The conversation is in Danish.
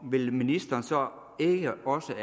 vil ministeren så ikke også